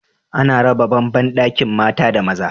Ana raba ban bandakin mata da maza